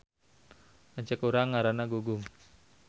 Lanceuk urang ngaranna Gugum